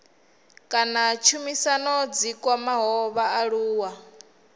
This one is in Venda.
kana tshumisano dzi kwamaho vhaaluwa